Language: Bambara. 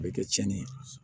A bɛ kɛ tiɲɛni ye